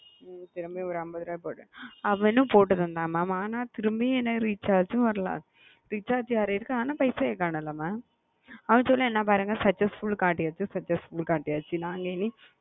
நேத்து ஒரு அம்பதுரூபா போட்ட திரும்பியும் recharge வரல பைசாவும் வரல mam அவங்க என்ன சொல்றங்கனா successfull successfull காட்டுதுனு சொல்ராங்க